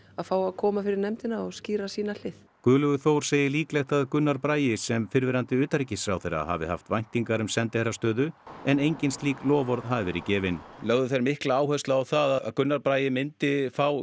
fá að koma fyrir nefndina og skýra sína hlið Guðlaugur Þór segir líklegt að Gunnar Bragi sem fyrrverandi utanríkisráðherra hafi haft væntingar um sendiherrastöðu en engin slík loforð hafi verið gefin lögðu þeir mikla áherslu á það að Gunnar Bragi myndi fá